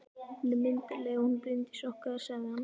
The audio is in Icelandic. Hún er myndarleg, hún Bryndís okkar, sagði hann.